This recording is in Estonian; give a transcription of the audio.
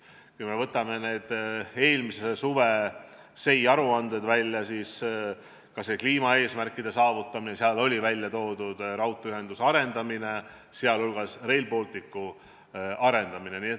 Kui võtame välja eelmise suve SEI aruanded, siis näeme, et seal on välja toodud ka kliimaeesmärkide saavutamine, raudteeühenduse arendamine, sh Rail Balticu arendamine.